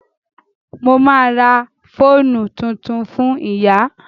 Mo ma ra fóònù tuntun fún ìyá